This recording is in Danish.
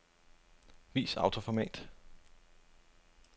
Vis autoformat.